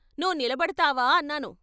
నువ్వు నిలబడతావా అన్నాను.